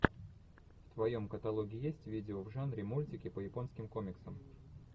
в твоем каталоге есть видео в жанре мультики по японским комиксам